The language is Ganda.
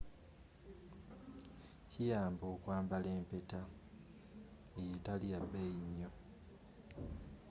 kiyamba okwambala empeta eyo etaliyabeeyi nnyo